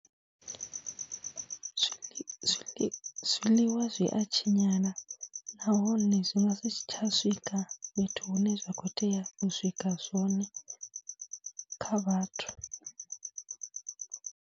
Zwi zwiḽiwa zwiḽiwa zwi a tshinyala nahone zwi nga si tsha swika fhethu hune zwa khou tea u swika zwone kha vhathu.